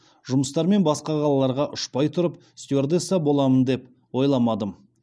жұмыстармен басқа қалаларға ұшпай тұрып стюардесса боламын деп ойламадым